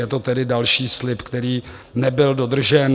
Je to tedy další slib, který nebyl dodržen.